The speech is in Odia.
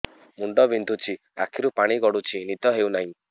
ମୁଣ୍ଡ ବିନ୍ଧୁଛି ଆଖିରୁ ପାଣି ଗଡୁଛି ନିଦ ହେଉନାହିଁ